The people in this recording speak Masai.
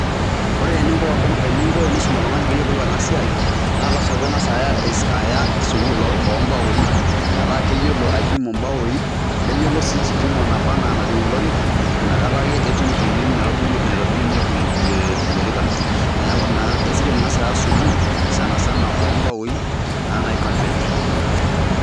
Ore eninko enisum oltung'ani peeyolou ena siai aa lazima ping'as aya ena sukuul o mbaoi metaa keyolo aipimu mbaoi, neyolo sii kipimo nabaa naa najing' olorika inakata ake etum eng'eno naitobirunye ee ilorikan. Neeku naa esidai ening'as aya sukuul sana sana o mbaoi naa naji carpentry.